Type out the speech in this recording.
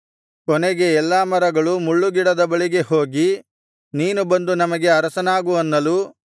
ಕೊನೆಗೆ ಎಲ್ಲಾ ಮರಗಳು ಮುಳ್ಳುಗಿಡದ ಬಳಿಗೆ ಹೋಗಿ ನೀನು ಬಂದು ನಮಗೆ ಅರಸನಾಗು ಅನ್ನಲು